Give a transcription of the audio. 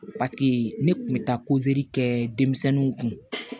Paseke ne kun bɛ taa kɛ denmisɛnninw kun